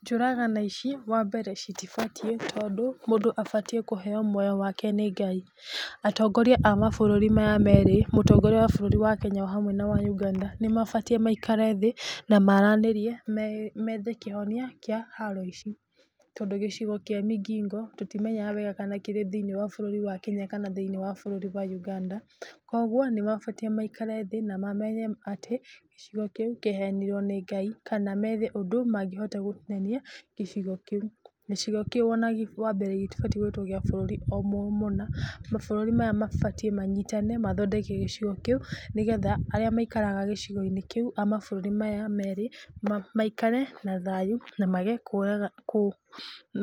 Njũragano ici, wa mbere citibatiĩ , tondũ mũndũ abatiĩ kũheo muoyo wake nĩ Ngai, atongoria a mabũrũri maya merĩ, mũtongoria wa bũrũri wa Kenya o hamwe ona wa Uganda, nĩ mabatiĩ maikare thĩ na maigwithanie methe kĩhonia kĩa haro ici, tondũ gĩcigo kĩa Migingo tũtimenyaga wega kana gĩ thĩiniĩ wa bũrũri wa kenya kana thĩiniĩ wa bũrũri wa Uganda, kũgwo nĩ mabatiĩ maikare thĩ mamenye atĩ gĩcigo kĩu kĩaheanirwo nĩ Ngai, kana methe ũndũ mangĩhota gũtinania gĩcigo kĩu, gĩcigo kĩu gĩtibatiĩ gwĩtwo kĩa bũrũri mũna, mabũrũri maya mabatiĩ kũnyitana mathondeke gĩcigo kĩu, nĩgetha arĩa maikaraga gĩcigo kĩu a mabũrũri mau merĩ maikare na thayũ na mage kũ,